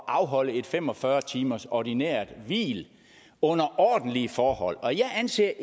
afholde et fem og fyrre timers ordinært hvil under ordentlige forhold og jeg anser